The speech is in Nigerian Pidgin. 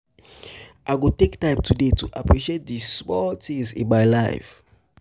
i go take time today to appreciate di small things in my life.